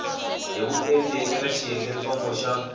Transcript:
hi vuenti eka xiyengentsongo xa